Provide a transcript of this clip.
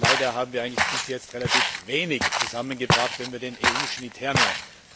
Leider haben wir eigentlich bis jetzt relativ wenig zusammengebracht, wenn wir den EU Schnitt hernehmen.